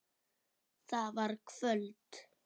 Það var kvöld.